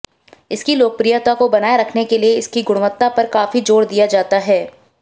इसकी लोकप्रियता को बनाए रखने के लिए इसकी गुणवत्ता पर काफी जोर दिया जाता है